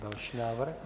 Další návrh.